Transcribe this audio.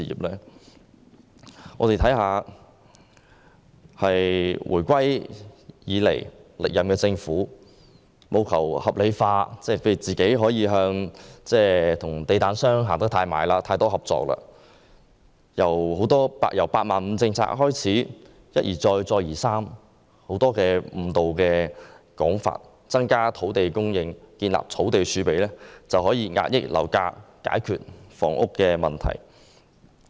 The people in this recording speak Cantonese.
自回歸以來，歷任政府務求合理化自己與地產商的親近和合作，從"八萬五"政策開始便一而再、再而三地提出很多誤導的說法，例如說增加土地供應和建立土地儲備便可以遏抑樓價，解決房屋問題。